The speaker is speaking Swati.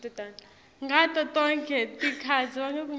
ngato tonkhe tikhatsi